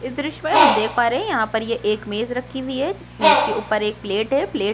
इस दृश्य में हम देख पा रहै हैं यहाँ पर ये एक मेज रखी हुई है मेज के ऊपर एक प्लेट है।